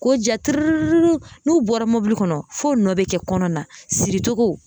K'o ja tiririri n'u bɔra mobili kɔnɔ f'o nɔ bɛ kɛ kɔnɔ na siricogo